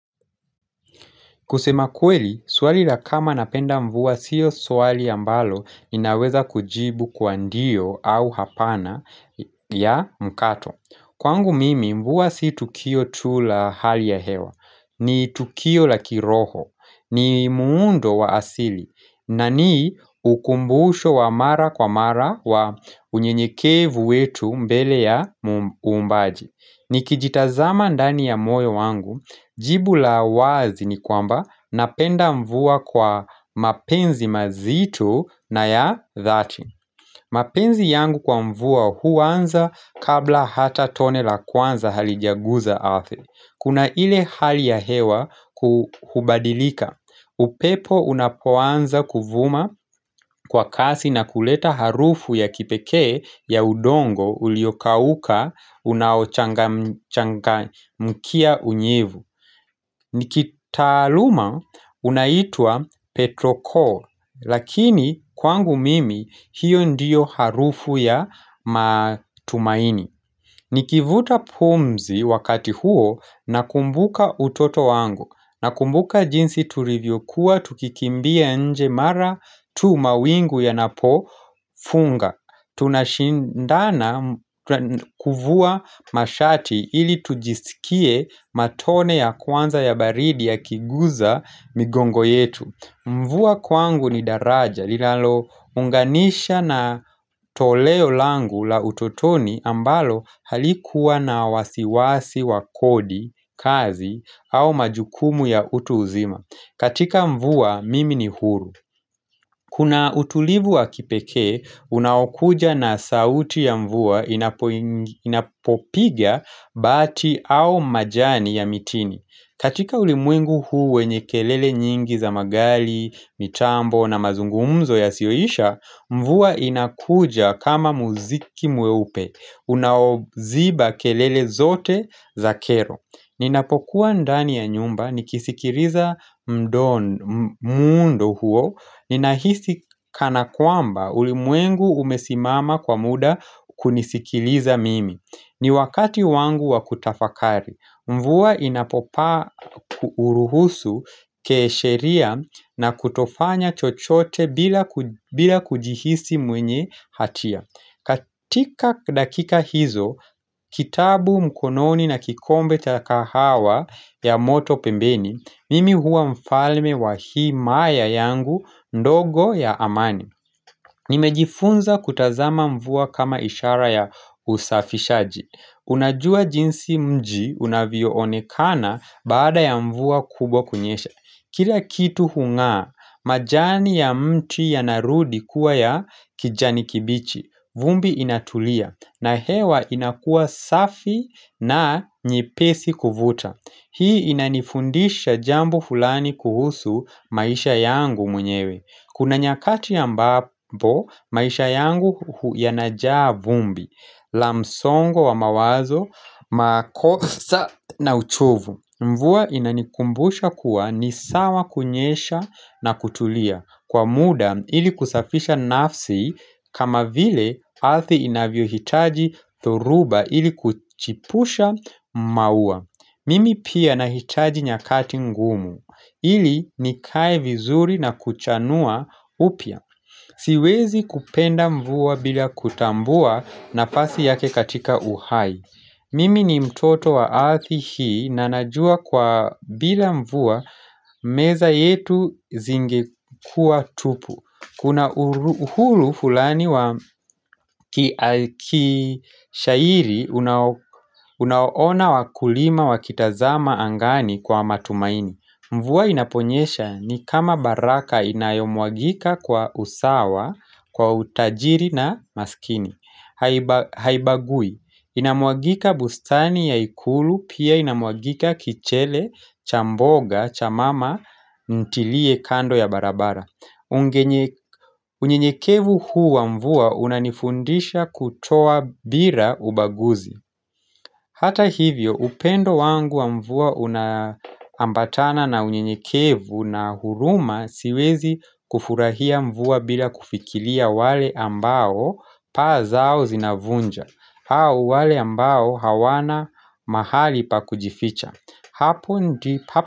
Kusema kweli, swali la kama napenda mvua siyo swali ambalo inaweza kujibu kwa ndio au hapana ya mkato. Kwangu mimi mvua si tukio tu la hali ya hewa. Ni tukio la kiroho. Ni muundo wa asili. Na ni ukumbuhusho wa mara kwa mara wa unyenyekevu wetu mbele ya muumbaji. Ni kijitazama ndani ya moyo wangu, jibu la wazi ni kwamba napenda mvua kwa mapenzi mazito na ya dhati mapenzi yangu kwa mvua huwanza kabla hata tone la kwanza halijaguza arthi Kuna ile hali ya hewa kuhubadilika upepo unapoanza kuvuma kwa kasi na kuleta harufu ya kipekee ya udongo uliokauka unaochangamkia unyevu. Nikitaaluma unaitwa Petro-Core, lakini kwangu mimi hiyo ndiyo harufu ya matumaini. Nikivuta pumzi wakati huo nakumbuka utoto wangu. Nakumbuka jinsi turivyokuwa tukikimbia nje mara tu mawingu yanapo funga. Tunashindana kuvua mashati ili tujisikie matone ya kwanza ya baridi yakiguza migongo yetu. Mvua kwangu ni daraja, linalo unganisha na toleo langu la utotoni ambalo halikuwa na wasiwasi wa kodi, kazi, au majukumu ya utu uzima. Katika mvuwa, mimi ni huru. Kuna utulivu wa kipekee, unaokuja na sauti ya mvua inapopiga bati au majani ya mitini. Katika ulimwengu huu wenye kelele nyingi za magali, mitambo na mazungumzo yasioisha, mvua inakuja kama muziki mweupe, unaoziba kelele zote za kero. Ninapokuwa ndani ya nyumba, nikisikiriza mdo muundo huo, ninahisi kana kwamba ulimwengu umesimama kwa muda kunisikiliza mimi. Ni wakati wangu wa kutafakari, mvua inapopaa uruhusu, kesheria na kutofanya chochote bila kujihisi mwenye hatia katika dakika hizo, kitabu mkononi na kikombe cha kahawa ya moto pembeni, mimi huwa mfalme wa himaya yangu, ndogo ya amani Nimejifunza kutazama mvua kama ishara ya usafishaji Unajua jinsi mji unavyoonekana baada ya mvua kubwa kunyesha Kila kitu hungaa, majani ya mti yanarudi kuwa ya kijani kibichi vumbi inatulia na hewa inakuwa safi na nyepesi kuvuta Hii inanifundisha jambo fulani kuhusu maisha yangu mwenyewe Kuna nyakati ambapo, maisha yangu hu yanajaa vumbi, la msongo wa mawazo, makosa na uchovu. Mvua inanikumbusha kuwa ni sawa kunyesha na kutulia. Kwa muda, ili kusafisha nafsi kama vile arthi inavyo hitaji dhoruba ili kuchipusha maua. Mimi pia nahitaji nyakati ngumu. Ili nikae vizuri na kuchanua upya. Siwezi kupenda mvua bila kutambua nafasi yake katika uhai. Mimi ni mtoto wa arthi hii na najua kwa bila mvua meza yetu zingekua tupu. Kuna uhuru hulani wa kishairi unaona wakulima wa kitazama angani kwa matumaini Mvua inaponyesha ni kama baraka inayomwagika kwa usawa, kwa utajiri na maskini Haibagui, inamwagika bustani ya ikulu pia inamwagika kichele, cha mboga, cha mama, ntilie kando ya barabara unyenyekevu huu wa mvua unanifundisha kutoa bira ubaguzi Hata hivyo upendo wangu wa mvua unaambatana na unyenyekevu na huruma siwezi kufurahia mvua bila kufikiria wale ambao paa zao zinavunja au wale ambao hawana mahali pa kujificha Hapo ndi pa.